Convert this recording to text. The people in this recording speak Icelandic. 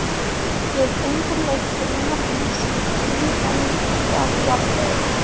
Við undirleik brunabíls í tíu gatna fjarlægð.